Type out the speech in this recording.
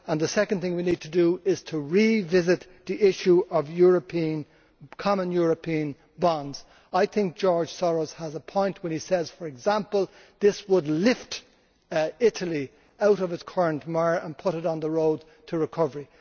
The second thing we need to do is to revisit the issue of common European bonds. I think George Soros has a point when he says, for example, that this would lift Italy out of its current mire and put it on the road to recovery.